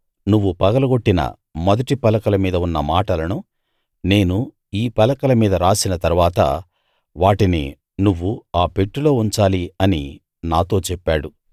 నువ్వు పగలగొట్టిన మొదటి పలకల మీద ఉన్న మాటలను నేను ఈ పలకల మీద రాసిన తరవాత వాటిని నువ్వు ఆ పెట్టెలో ఉంచాలి అని నాతో చెప్పాడు